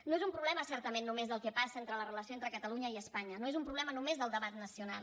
no és un problema certament només del que passa en la relació entre catalunya i espanya no és un problema només del debat nacional